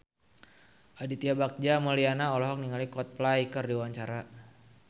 Aditya Bagja Mulyana olohok ningali Coldplay keur diwawancara